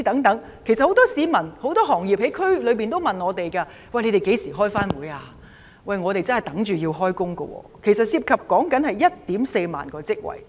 很多區內市民和業界人士也問我們何時會再召開會議，他們真的在等候開工，涉及 14,000 個職位。